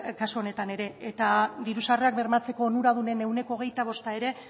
kasu honetan ere eta diru sarrerak bermatzeko onuradunen ehuneko hogeita bosta ere